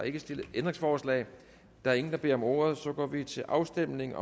ikke stillet ændringsforslag der er ingen der beder om ordet så går vi til afstemning